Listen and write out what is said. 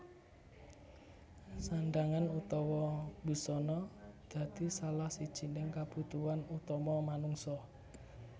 Sandhangan utawa busana dadi salah sijining kabutuhan utama manungsa